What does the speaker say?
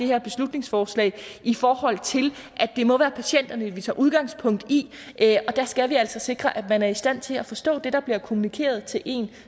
her beslutningsforslag i forhold til at det må være patienterne vi tager udgangspunkt i og der skal vi altså sikre at man er i stand til at forstå det der bliver kommunikeret til en